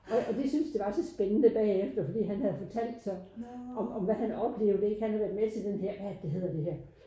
Og og de synes det var så spændende bagefter fordi han havde fortalt så om om hvad han oplevet ikke han havde været med til den her ja det hedder det her